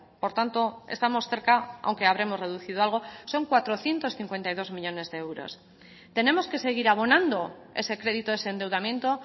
por tanto estamos cerca aunque habremos reducido algo son cuatrocientos cincuenta y dos millónes de euros tenemos que seguir abonando ese crédito ese endeudamiento